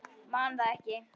Man það ekki.